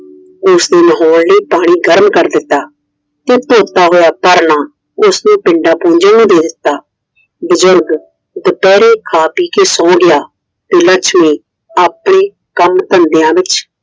ਉਸ ਨੇ ਨਹਾਉਣ ਲਈ ਪਾਣੀ ਗਰਮ ਕਰ ਦਿੱਤਾ ਤੇ ਧੋਤਾ ਹੋਇਆ ਪਰਨਾ ਉਸ ਨੇ ਪਿੰਡਾਂ ਭੁਜਨ ਨੂੰ ਦੇ ਦਿੱਤਾ, ਬਜ਼ੁਰਗ ਦੁਪਹਿਰੇ ਖਾ ਪੀ ਕੇ ਸੋ ਗਿਆ ਤੇ, ਲੱਛਮੀ ਆਪਣੇ ਕੰਮ ਧੰਦਿਆਂ ਵਿੱਚ